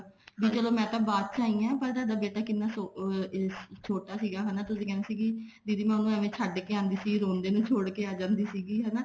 ਵੀ ਚਲੋ ਮੈਂ ਤਾਂ ਬਾਅਦ ਚ ਆਈ ਹਾਂ ਥੋਡਾ ਬੇਟਾ ਕਿੰਨਾ ਛੋਟਾ ਸੀਗਾ ਹਨਾ ਤੁਸੀਂ ਕਹਿੰਦੇ ਸੀ ਦੀਦੀ ਮੈਂ ਉਹਨੂੰ ਏਵੇਂ ਛੱਡ ਕੇ ਆਉਂਦੀ ਸੀ ਰੋਂਦੇ ਨੂੰ ਛੋੜ ਕੇ ਆ ਜਾਂਦੀ ਸੀ ਹਨਾ